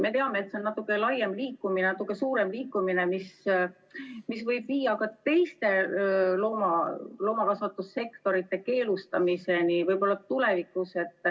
Me teame, et see on natuke laiem liikumine, mis võib tulevikus viia ka teiste loomakasvatussektorite keelustamiseni.